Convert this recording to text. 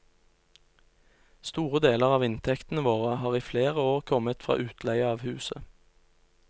Store deler av inntektene våre har i flere år kommet fra utleie av huset.